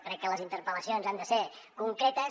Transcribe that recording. crec que les interpel·lacions han de ser concretes